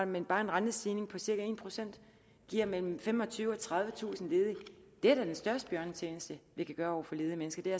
men bare en rentestigning på cirka en procent giver mellem femogtyvetusind og tredivetusind ledige den største bjørnetjeneste vi kan gøre ledige mennesker er